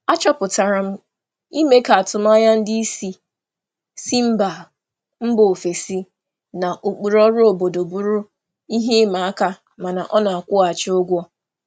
Achọpụtara m na ịhazi atụmanya ndị oga si mba ọzọ na ụkpụrụ ọrụ obodo siri ike mana ọ na-akwụ ụgwọ.